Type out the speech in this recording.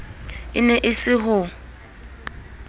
e ne e se ho